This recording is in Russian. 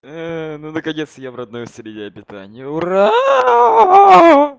ну наконец я в родной среде обитания ура